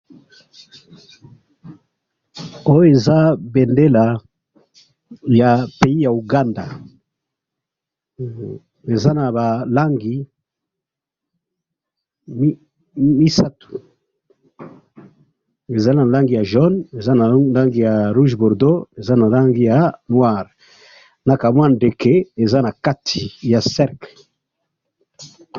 Oyo eza bendela ya pays ya Ouganda ,eza na ba langi misatu, eza na langi ya jaune ,eza na langi ya rouge bordeau, eza na langi ya noir ,na ka mwa ndeke eza na kati ya cercle